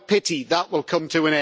What a pity that will come to